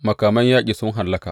Makaman yaƙi sun hallaka!